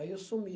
Aí eu sumi.